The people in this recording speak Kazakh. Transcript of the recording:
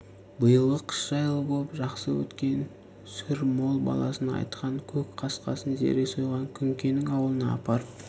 биылғы қыс жайлы боп жақсы өткен сүр мол баласына айтқан көк қасқасын зере сойған күнкенің аулына апарып